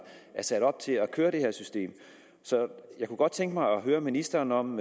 sat op til at køre det her system så jeg kunne godt tænke mig at høre ministeren om